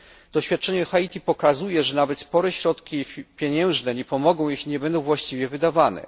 Doświadczenie Haiti pokazuje, że nawet spore środki pieniężne nie pomogą, jeśli nie będą właściwie wydawane.